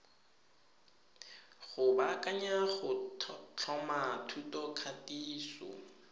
go baakanya go tlhoma thutokatiso